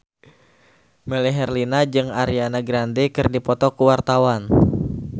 Melly Herlina jeung Ariana Grande keur dipoto ku wartawan